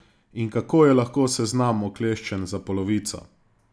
In kako je lahko seznam okleščen za polovico?